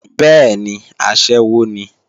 Bẹ́ẹ̀ni, aṣẹ́wó ni